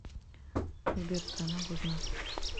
сбер страна гознак